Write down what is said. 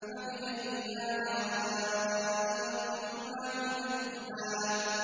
فَبِأَيِّ آلَاءِ رَبِّكُمَا تُكَذِّبَانِ